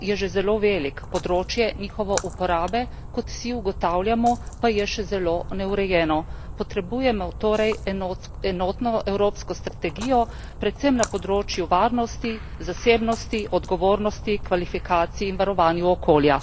Trg dronov je že zelo velik, področje njihove uporabe, kot vsi ugotavljamo, pa je še zelo neurejeno. Potrebujemo torej enotno evropsko strategijo, predvsem na področju varnosti, zasebnosti, odgovornosti, kvalifikacij in varovanja okolja.